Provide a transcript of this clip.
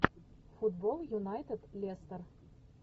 футбол юнайтед лестер